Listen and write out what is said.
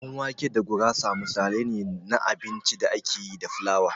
Ɗan wake da gurasa misalai ne na abincin da ake yi da flawa.